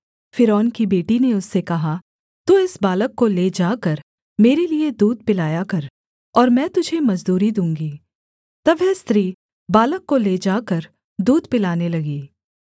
फ़िरौन की बेटी ने उससे कहा तू इस बालक को ले जाकर मेरे लिये दूध पिलाया कर और मैं तुझे मजदूरी दूँगी तब वह स्त्री बालक को ले जाकर दूध पिलाने लगी